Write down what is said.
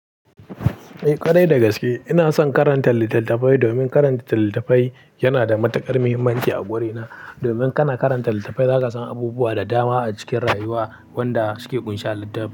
Eh ƙadai dagaske, ina son karanta littattafai domin karanta littattafai yana da matuƙar muhimmanci a gurena. Domin kana karanta littattafai zaka san abubuwa da dama a cikin rayuwa wanda suke ƙunshe a littafi.